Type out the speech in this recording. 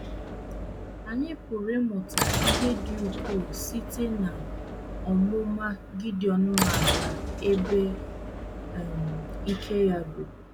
Anyị pụrụ ịmụta ihe dị ukwuu site n’ọmụma Gideọn maara ebe um ike ya ruru.